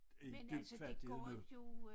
I dyb fattighed nu